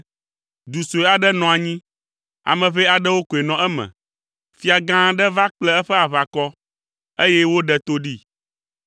Du sue aɖe nɔ anyi; ame ʋɛ aɖewo koe nɔ eme. Fia gã aɖe va kple eƒe aʋakɔ, eye woɖe to ɖee.